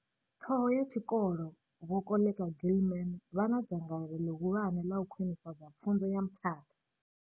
Ṱhoho ya tshikolo Vho Koleka Gilman vha na dzangalelo ḽihulwane ḽa u khwinifhadza pfunzo ya Mthatha.